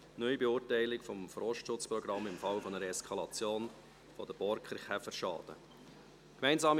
«Neubeurteilung des Forstschutzprogramms im Falle einer Eskalation der Borkenkäferschäden» .